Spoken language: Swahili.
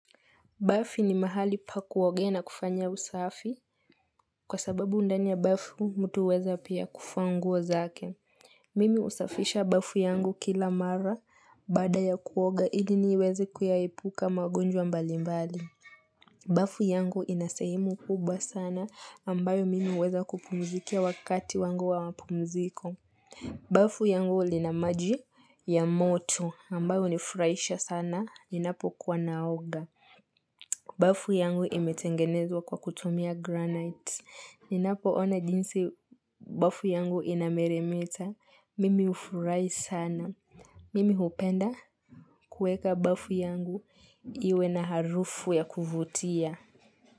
Bafu ni mahali pa kuogea na kufanya usafi kwa sababu ndani bafu mtu huweza pia kufua nguo zake. Mimi husafisha bafu yangu kila mara baada ya kuoga iliniweze kuyaepuka magonjwa mbali mbali. Bafu yangu inasehemu kubwa sana ambayo mimi huweza kupumzikia wakati wangu wa mpumziko. Bafu yangu linamaji ya moto ambayo hunifurahisha sana ninapokuwa naoga. Bafu yangu imetengenezwa kwa kutumia granite. Ninapo ona jinsi bafu yangu inameremeta. Mimi hufurahi sana. Mimi hupenda kuweka bafu yangu iwe na harufu ya kuvutia.